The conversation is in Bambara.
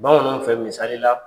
Bamananw fɛ misali la,